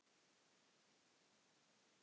Já, mig grunaði það líka.